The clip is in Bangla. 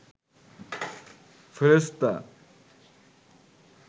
ফেরেশতা